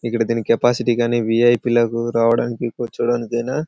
దీని కెపాసిటీ కానీ వీ.ఐ.పి. లు రావడానికి కూర్చోడానికి ఆయన.